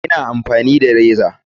Ina amfani da jikinsa.